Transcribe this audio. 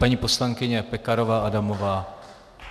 Paní poslankyně Pekarová Adamová.